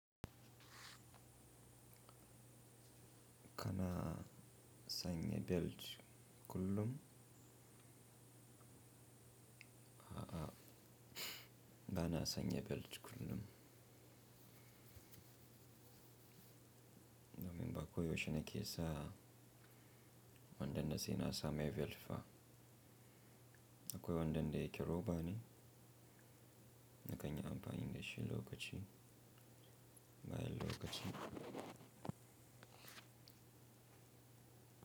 Kana sanye belt kullum, a'a bana sanye belt kullum. Namim ba koyo shine ke sa wandan da sina sa mai belt fa. Akoy wandan da yake robane, na kanya amba ingeshi lokachi, bayel lokachi.